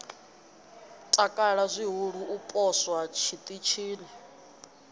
takala zwihulu u poswa tshiṱitshini